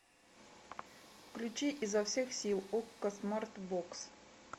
включи изо всех сил окко смарт бокс